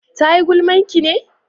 ta yi gulman ki ne?